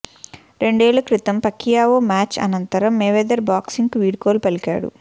రెండేళ్ల క్రితం పకియావ్తో మ్యాచ్ అనంతరం మేవెదర్ బాక్సింగ్కు వీడ్కోలు పలికాడు